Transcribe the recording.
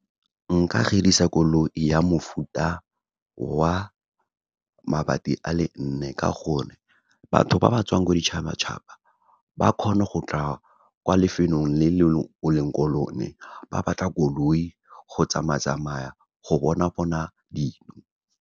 Nka koloi ya mofuta wa mabati a le nne, ka gore batho ba ba tswang ko ditšhabatšhaba, ba kgone go tla kwa lefelong le o leng ko lone, ba batla koloi, go tsamaya-tsamaya go bona-bona dilo.